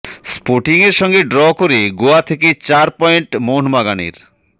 স্পোর্টিংয়ের সঙ্গে ড্র করে গোয়া থেকে চার পয়েন্ট মোহনবাগানের